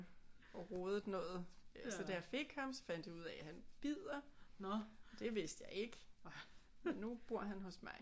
Og rodet noget så da jeg fik ham så fandt vi ud af at han bider det vidste jeg ikke nu bor han hos mig